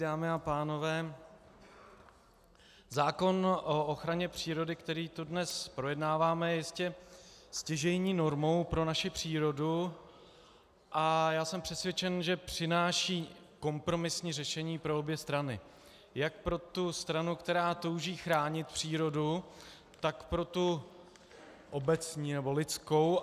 Dámy a pánové, zákon o ochraně přírody, který tu dnes projednáváme, je jistě stěžejní normou pro naši přírodu a já jsem přesvědčen, že přináší kompromisní řešení pro obě strany - jak pro tu stranu, která touží chránit přírodu, tak pro tu obecní nebo lidskou.